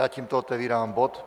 Já tímto otevírám bod